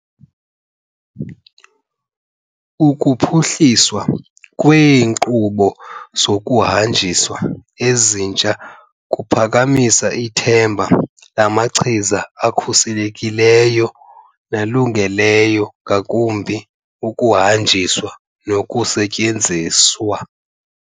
Ukuphuhliswa kweenkqubo zokuhanjiswa ezintsha kuphakamisa ithemba lamachiza akhuselekileyo nalungele ngakumbi ukuhanjiswa nokusetyenziswa.